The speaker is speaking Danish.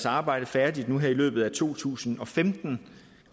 arbejde færdigt nu her i løbet af to tusind og femten